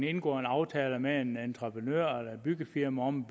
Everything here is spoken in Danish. indgår en aftale med en entreprenør eller et byggefirma om